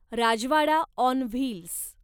Rajwada on wheels